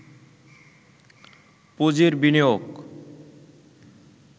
পুঁজির বিনিয়োগ